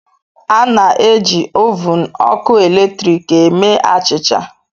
A na-eji ovun ọkụ eletrik eme achịcha.